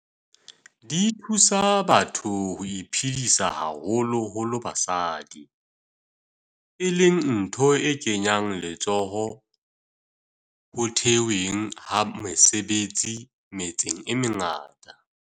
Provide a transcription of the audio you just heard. Di thusa batho ho iphedisa, haholo holo basadi, e leng ntho e kenyang letsoho ho the hweng ha mesebetsi metseng e mengata.